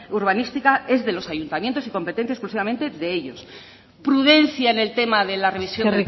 urbanística es de los ayuntamientos y competencia exclusivamente de ellos prudencia en el tema de la revisión